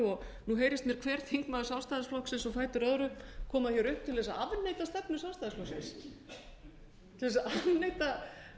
landinu nú heyrist mér hver þingmaður sjálfstæðisflokksins á fætur öðrum koma hér upp til þess að afneita stefnu sjálfstæðisflokksins til þess að afneita